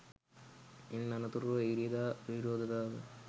ඉන් අනතුරුව ඉරිදා විරෝධතාවය